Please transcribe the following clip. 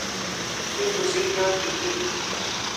Mi pusit nyo chiget.